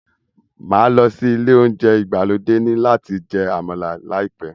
Máa lọ sí ilé oúnjẹ ìgbàlódé ní láti jẹ àmàlà láìpẹ́